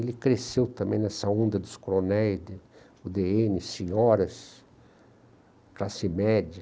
Ele cresceu também nessa onda dos coronéis, u dê ene, senhoras, classe média.